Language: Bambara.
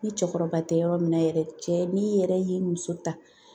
Ni cɛkɔrɔba tɛ yɔrɔ min na yɛrɛ, cɛ n'i yɛrɛ ye muso ta